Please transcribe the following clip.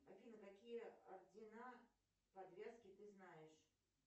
афина какие ордена подвязки ты знаешь